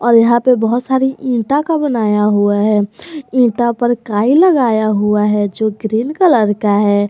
और यहां पे बहुत सारी ईटा का बनाया हुआ है ईटा पर कई लगाया हुआ है जो ग्रीन का है।